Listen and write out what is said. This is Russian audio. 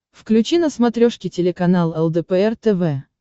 включи на смотрешке телеканал лдпр тв